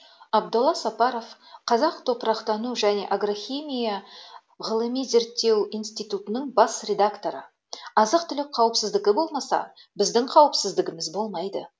абдолла сапаров қазақ топырақтану және агрохимия ғзи бас директоры азық түлік қауіпсіздігі болмаса біздің қауіпсіздігіміз болмайды